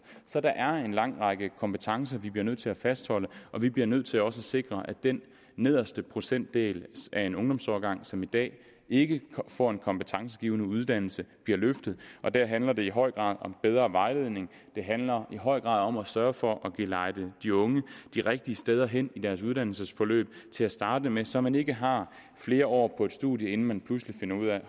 så der er en lang række kompetencer vi bliver nødt til at fastholde vi bliver nødt til også at sikre at den nederste procentdel af en ungdomsårgang som i dag ikke får en kompetencegivende uddannelse bliver løftet og der handler det i høj grad om bedre vejledning det handler i høj grad om at sørge for at gelejde de unge de rigtige steder hen i deres uddannelsesforløb til at starte med så man ikke har flere år på et studium inden man pludselig finder ud af at